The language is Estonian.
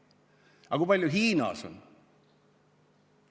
Aga kui palju Hiinas on?